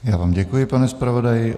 Já vám děkuji, pane zpravodaji.